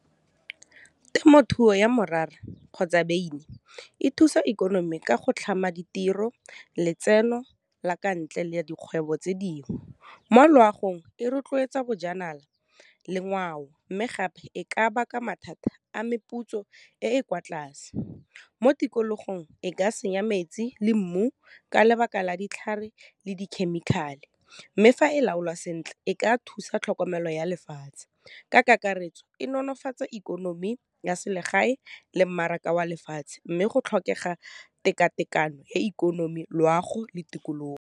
Temothuo ya morara kgotsa beine e thusa ikonomi ka go tlhama ditiro, letseno la ka ntle le dikgwebo tse dingwe mo loagong e rotloetsa bojanala le ngwao mme gape e ka baka mathata a meputso e e kwa tlase. Mo tikologong e ka senya metsi le mmu ka lebaka la ditlhare le dikhemikhale mme fa e laolwa sentle e ka thusa tlhokomelo ya lefatshe ka kakaretso, e nolofatsa ikonomi ya selegae le mmaraka wa lefatshe mme go tlhokega tekatekano ya ikonomi, loago le tikologo.